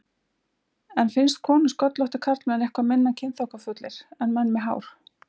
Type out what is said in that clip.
En finnst konum sköllóttir karlmenn eitthvað minna kynþokkafullir en menn með hár?